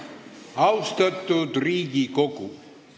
Austatud Riigikogu!